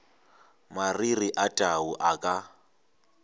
mariri a tau a ka